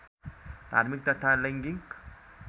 धार्मिक तथा लैङ्गिक